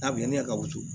A bi yanni ne ka woto